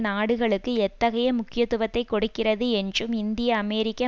நாடுகளுக்கு எத்தகைய முக்கியத்துவத்தை கொடுக்கிறது என்றும் இந்தியஅமெரிக்க